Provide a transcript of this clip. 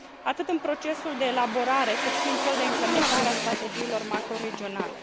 atât în procesul de elaborare, cât și în cel de implementare a strategiilor macroregionale.